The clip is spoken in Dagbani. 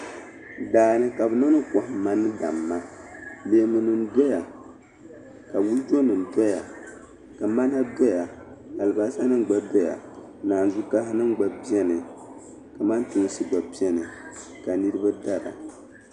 Daa ni ka bɛ niŋdi kɔhimma ni damma leemunima doya ka wulijonima doya ka mana doya alibasanima gba doya ka naanzukahinima gba beni kamantoonsi gba beni ka niriba dara.